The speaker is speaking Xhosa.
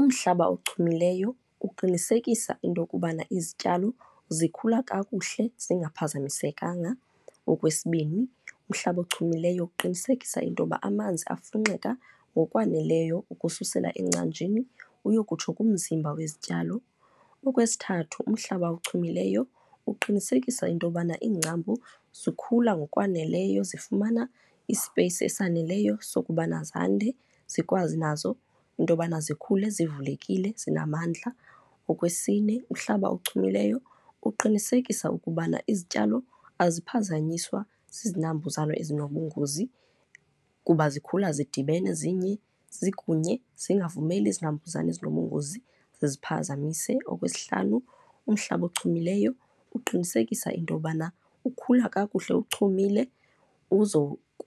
Umhlaba ochumileyo uqinisekisa into yokubana izityalo zikhula kakuhle zingaphazamisekanga. Okwesibini, umhlaba ochumileyo ukuqinisekisa into yoba amanzi afunxeka ngokwaneleyo ukususela engcanjini uyokutsho kumzimba wezityalo. Okwesithathu, umhlaba ochumileyo uqinisekisa into yobana iingcambu zikhula ngokwaneleyo, zifumana isipeyisi esaneleyo sokubana zande zikwazi nazo into yobana zikhule zivulekile, zinamandla. Okwesine, umhlaba ochumileyo uqinisekisa ukubana izityalo aziphazanyiswa zizinambuzane ezinobungozi kuba zikhula zidibene zinye zikunye, zingavumeli izinambuzane ezinobungozi ziziphazamise. Okwesihlanu, umhlaba ochumileyo uqinisekisa into yobana ukhula kakuhle uchumile